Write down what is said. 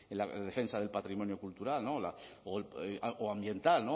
la defensa del patrimonio cultural o ambiental